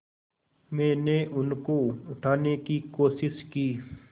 मैंने उनको उठाने की कोशिश की